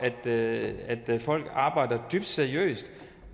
at folk arbejder dybt seriøst